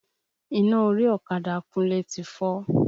Iná orí ọ̀kadà Kúnlé ti fọ́.